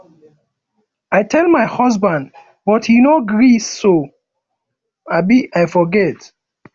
i tell my husband but he no gree so um i forget